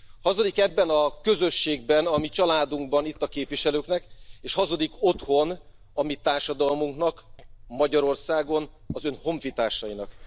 Hazudik ebben a közösségben, a mi családunkban, itt a képviselőknek, és hazudik otthon, a mi társadalmunknak, Magyarországon, az ön honfitársainak.